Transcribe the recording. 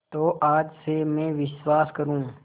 तो आज से मैं विश्वास करूँ